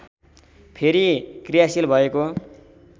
फेरि क्रियाशील भएको